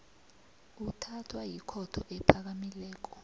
uthathwa yikhotho ephakamileko